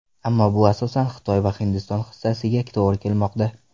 Ammo bu asosan Xitoy va Hindiston hissasiga to‘g‘ri kelmoqda.